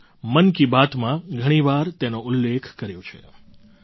મેં મન કી બાતમાં ઘણી વાર તેનો ઉલ્લેખ કર્યો છે